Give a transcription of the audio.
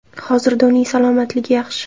Hozirda uning salomatligi yaxshi.